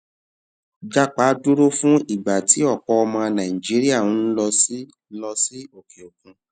japa dúró fún ìgbà tí ọpọ ọmọ nàìjíríà ń lọ sí lọ sí òkè òkun